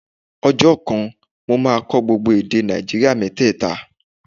Ọjọ́ kan, mo máa kọ́ gbogbo èdè Nàìjíríà mẹ́tẹ̀ta